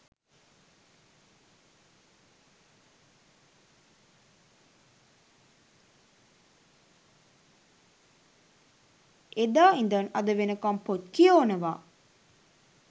එදා ඉදන් අද වෙනකම් පොත් කියෝනවා.